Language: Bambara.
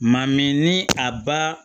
Maa min ni a ba